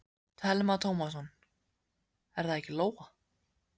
Telma Tómasson: Er það ekki Lóa?